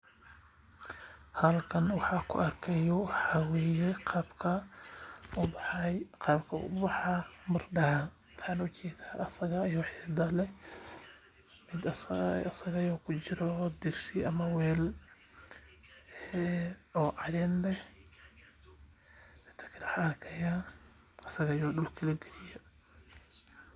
Halkan waxaan ku arki haayo waxaa waye qaabka uu ubaxayo baradaha mid kujiro degsi ama weel caleen leh asaga oo dulka lagaliye.